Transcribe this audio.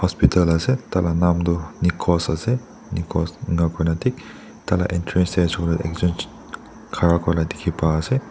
tala naam du nikos ase nikos inakurina thik taila entrance tey ekjun khara kurina dikhi pa se.